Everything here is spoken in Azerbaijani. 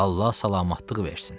Allah salamatlıq versin.